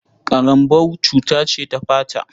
Ƙarambau cuta ce ta fata.